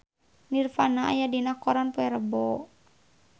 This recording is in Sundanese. Nirvana aya dina koran poe Rebo